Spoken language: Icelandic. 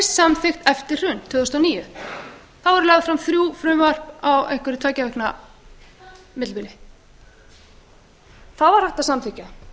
samþykkt fyrr en eftir hrun tvö þúsund og níu það voru lögð fram þrjú frumvörp á tveggja vikna bili þá var hægt að samþykkja